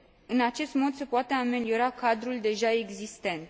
În acest mod, se poate ameliora cadrul deja existent.